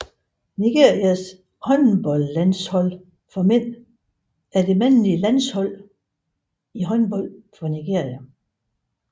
Nigerias håndboldlandshold for mænd er det mandlige landshold i håndbold for Nigeria